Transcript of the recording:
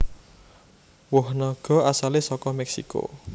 Woh naga asalé saka Mèksiko